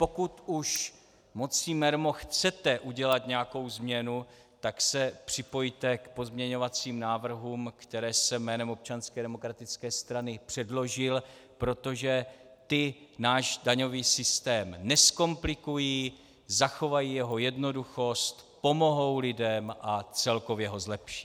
Pokud už mocí mermo chcete udělat nějakou změnu, tak se připojte k pozměňovacím návrhům, které jsem jménem Občanské demokratické strany předložil, protože ty náš daňový systém nezkomplikují, zachovají jeho jednoduchost, pomohou lidem a celkově ho zlepší.